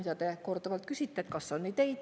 Te olete korduvalt küsinud, kas on ideid.